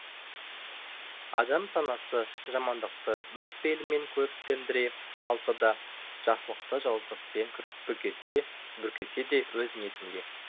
адам санасы жамандықты өз пейілімен көріктендіре алса да жақсылықты жауыздықпен бүркесе де өз ниетінде